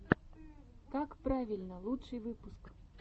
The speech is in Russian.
какправильно лучший выпуск